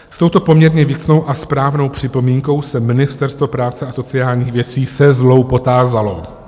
S touto poměrně věcnou a správnou připomínkou se Ministerstvo práce a sociálních věcí se zlou potázalo.